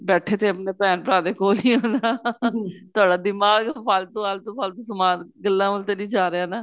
ਬੈਠੇ ਤੇ ਆਪਣੇ ਭੇਣ ਭਰਾ ਦੇ ਕੋਲ ਈ ਹੋ ਨਾ ਤੁਹਾਡਾ ਦਿਮਾਗ ਫਾਲਤੂ ਆਲਤੂ ਫਾਲਤੂ ਗੱਲਾ ਵੱਲ ਤਾਂ ਨੀਂ ਜਾ ਰਿਹਾ ਨਾ